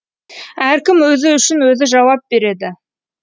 әркім өзі үшін өзі жауап береді